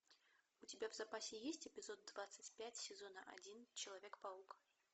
у тебя в запасе есть эпизод двадцать пять сезона один человек паук